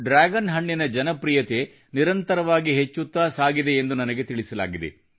dragon ಹಣ್ಣಿನ ಜನಪ್ರೀಯತೆ ನಿರಂತರವಾಗಿ ಹೆಚ್ಚುತ್ತಾ ಸಾಗಿದೆ ಎಂದು ನನಗೆ ತಿಳಿಸಲಾಗಿದೆ